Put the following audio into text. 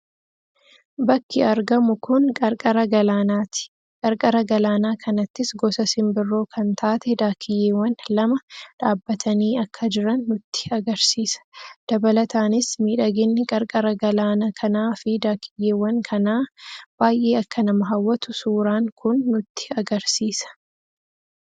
Bakki argamu kun qarqara galaanaa ti. Qarqara Galaanaa kanattis gosa simbirroo kan taatee Daakkiyyeewwan lama dhaabbatani akka jiran nutti agarsiisa. Dabalataanis miidhaginni qarqara Galaana kanaa fi Daakkiyyeewwan kanaa baayye akka nama hawwatu suuraan kun nutti agarsiisa.